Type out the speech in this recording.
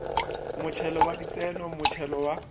motšhelo wa ditseno motšhelo wa